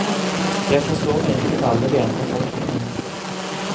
Jeg forstår meg ikke på alle de andre folkene her.